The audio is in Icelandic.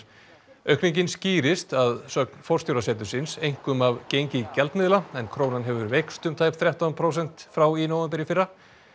aukningin skýrist að sögn forstjóra setursins einkum af gengi gjaldmiðla en krónan hefur veikst um tæp þrettán prósent frá í nóvember í fyrra